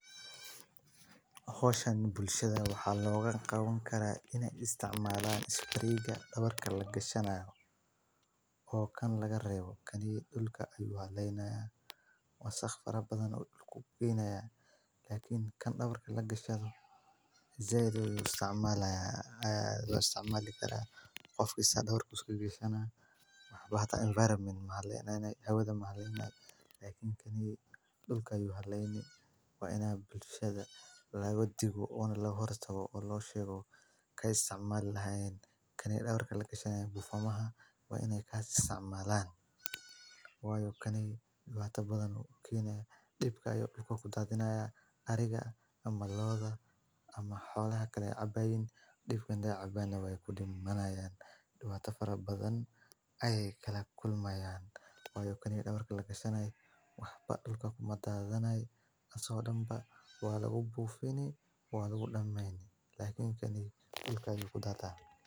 hooshan bulshada waxaa logaa qaban karaa inay isticmaalaan isbiriiga dhabarka lagashanayo oo kan lagareebo. Kanii dhulka ayo waa leynaya waad sax farabadan u dhulku u kiinayaa laakiin kan dhabar lagashado isagoo isticmaalaya ayaa isticmaali karaa qof kasta dhabar kusii gurishana. Bahata enviroment ma leeyahay hawadda ma leeyahay, laakiin kan dhulka ayyu halyeyni waa inaad bulshada la wadi go on la horato loo sheego ka isticmaal lahayn. Kan dhabar lagashanayo buufumaha waa inay ka tisicmaalaan. Waayo kan iyo ta badan kiinaya dhibka iyo dhulka ku daadinaya arriga ama looda ama xoolaha kale cabayn dhibkan ah cabanya way ku dhigmanayaan. Dhibata farabadan ay kala kulmayaan. Waayo kan dhabar galakshanay waxba dhulkaba madaadanay na soodhanba waa lagu buufinay waad ugu dhammaynay. Laakiin kani dhulka iyo ku da'da.